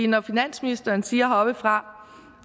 når finansministeren siger heroppefra